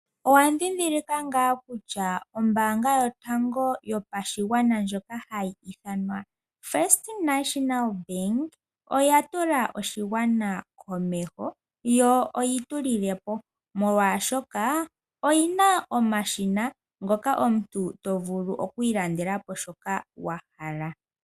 Owa dhindilika nga kutya ombanga yotango yopashigwana ndjoka hayi ithanwa first national bank oya tula oshigwana komeho, yo oyi tu lilepo molwashoka oyina omashina ngoka omuntu to vulu okwiilandelapo shoka wa hala.